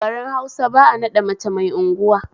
A garin Hausa ba'a naɗa mace mai unguwa